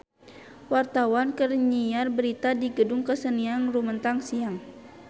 Wartawan keur nyiar berita di Gedung Kesenian Rumetang Siang